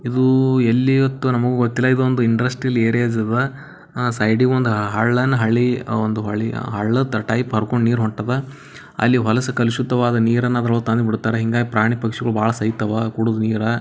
ಇದು ಎಲ್ಲಿ ಅಂ ತಾ ನಮಗೂ ಗೊತ್ತಿಲ್ಲ ಇದು ಒಂದು ಇಂಡಸ್ಟ್ರಿಯಲ್ ಏರಿಯಾ ಅದಾ ಸೈಡಗ ಒಂದು ಹಳ್ಳಯೆನ್ ಹಳ್ಳಿ ಒಂದು ಹಳ್ಳದು ಟೈಪ್ ಹರಕೊಂಡ್ ನೀರ್ ಹೊಂಟದ್ ಅಲ್ಲಿ ಹೊಲಸ್ ಕಲಿಸುದ್ವಾದ್ ನಿರನ್ನು ಅದರವಳಗ್ ತಂದ್ ಬಿಡತಾರ್ ಪ್ರಾಣಿ ಪಕ್ಷಿಗಳು ಭಾಳ ಸೈತಾವ್.